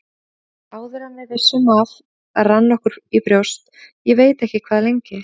Áður en við vissum af rann okkur í brjóst, ég veit ekki hvað lengi.